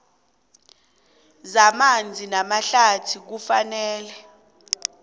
zamanzi namahlathi kufanele